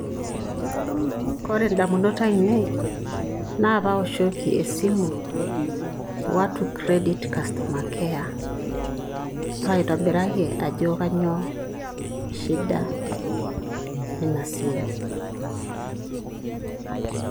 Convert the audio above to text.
Kore indamunot ainei naa paoshoki esimu watu Credit customer care paitobiraki ajo kanyioo shida e ina simu.